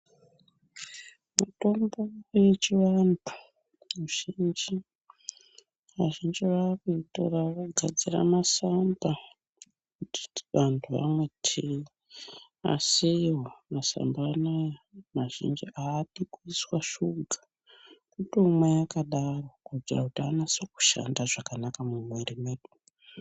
Mutombo yechivantu vazhinji vakuitoravogadzira masamba ekuti vantu vamwe tii asiwo masamba anaya mazhinji adi kuisa suga kutomwa yakadaro kuitira kuti anase kushanda zvakanaka mumwiri mwedu.